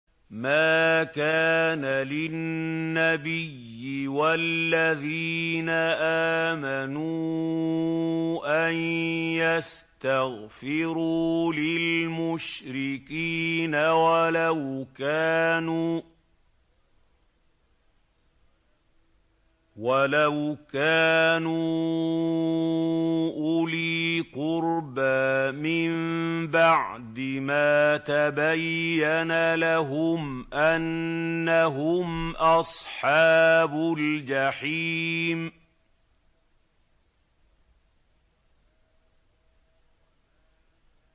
مَا كَانَ لِلنَّبِيِّ وَالَّذِينَ آمَنُوا أَن يَسْتَغْفِرُوا لِلْمُشْرِكِينَ وَلَوْ كَانُوا أُولِي قُرْبَىٰ مِن بَعْدِ مَا تَبَيَّنَ لَهُمْ أَنَّهُمْ أَصْحَابُ الْجَحِيمِ